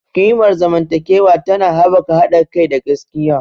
Ƙimar zamantakewa tana haɓaka haɗa kai da gaskiya.